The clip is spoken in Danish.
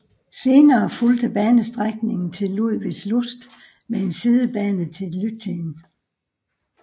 Senere fulgte banestrækningen til Ludwigslust med en sidebane til Lübtheen